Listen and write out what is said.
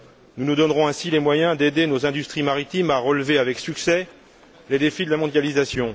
Nous nous donnerons ainsi les moyens d'aider nos industries maritimes à relever avec succès les défis de la mondialisation.